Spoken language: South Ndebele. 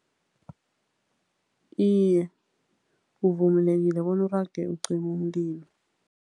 Iye, uvumelekile bona urage ucime umlilo.